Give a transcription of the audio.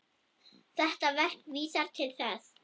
Þetta verk vísar til þess.